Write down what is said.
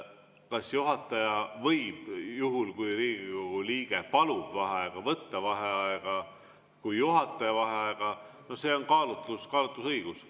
Kas juhataja võib juhul, kui Riigikogu liige palub vaheaega, võtta vaheaja kui juhataja vaheaja, see on kaalutlusõigus.